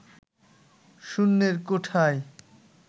শূন্যের কোঠায়